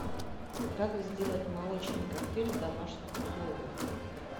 как сделать молочный коктейль в домашних условиях